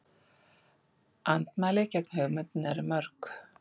Andmæli gegn hugmyndinni eru mörg.